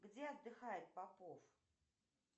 где отдыхает попов